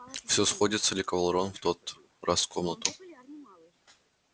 всё сходится ликовал рон в тот раз комнату